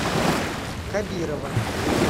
кабирова